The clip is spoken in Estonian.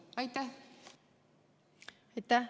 Aitäh!